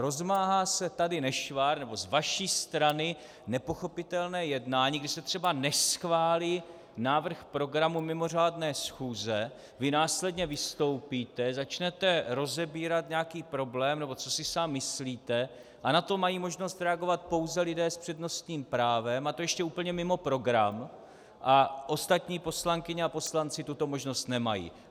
Rozmáhá se tady nešvar, nebo z vaší strany nepochopitelné jednání, kdy se třeba neschválí návrh programu mimořádné schůze, vy následně vystoupíte, začnete rozebírat nějaký problém, nebo co si sám myslíte, a na to mají možnost reagovat pouze lidé s přednostním právem, a to ještě úplně mimo program, a ostatní poslankyně a poslanci tuto možnost nemají.